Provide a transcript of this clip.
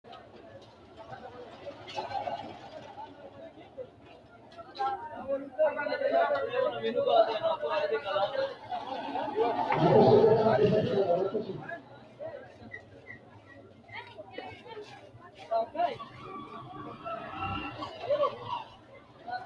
gobbankera addi addi gashshaano gashshite sainoha ikkanna insa giddo mitto ikkinohu hayiile sillaase ofollanno base wondogennetete noota albiidoseno biifinse loonsoonnite